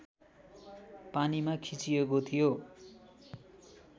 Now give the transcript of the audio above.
पानीमा खिचिएको थियो